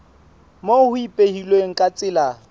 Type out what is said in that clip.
moo ho ipehilweng ka tsela